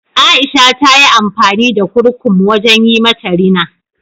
Aisha ta yi amfani da kurkum wajen yi mata rina.